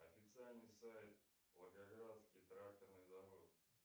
официальный сайт волгоградский тракторный завод